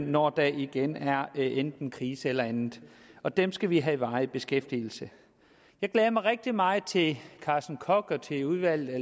når der igen er enten krise eller andet og dem skal vi have i varig beskæftigelse jeg glæder mig rigtig meget til at carsten koch udvalget